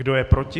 Kdo je proti?